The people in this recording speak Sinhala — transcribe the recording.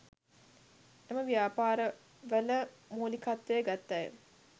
එම ව්‍යාපාර වල මූලිකත්වය ගත් අය